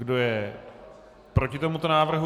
Kdo je proti tomuto návrhu?